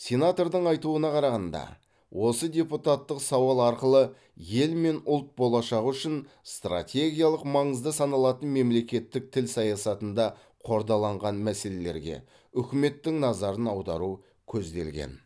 сенатордың айтуына қарағанда осы депутаттық сауал арқылы ел мен ұлт болашағы үшін стратегиялық маңызды саналатын мемлекеттік тіл саясатында қордаланған мәселелерге үкіметтің назарын аудару көзделген